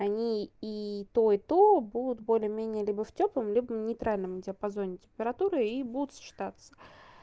они и то и то будут более менее либо в тёплом либо нейтральным диапазоне температуры и будут сочетаться